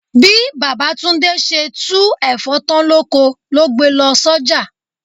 Bí Baba Túndé ṣe tú Ẹ̀fọ́ tán lóko ló gbe lọ s'oja.